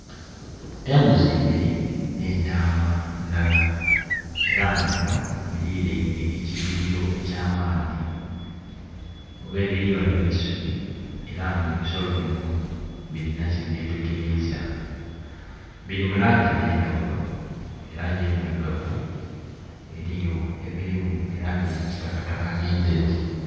Embuzi ibiri ne'ntaama ndhala era nga bino birireine ekiyirilo ekya maadhi. Ghebiri ghaligho eisubi era nga ebisolo bino bilina kye byetegeriza. Biri mu langi edhe ndhaghulo langi endhirugavu, eriyo ebiri mu langi eya kitakataka ne ndheru.